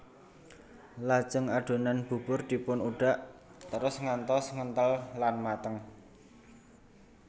Lajeng adonan bubur dipun udhak terus ngantos ngenthel lan mateng